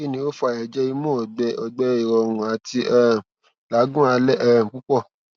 kini o fa ẹjẹ imu ọgbẹ ọgbẹ irọrun ati um lagun alẹ um pupọ